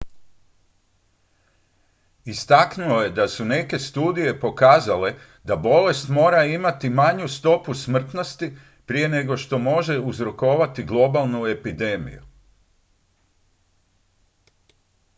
istaknuo je da su neke studije pokazale da bolest mora imati manju stopu smrtnosti prije nego što može uzrokovati globalnu epidemiju